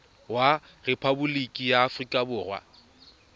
wa rephaboliki ya aforika borwa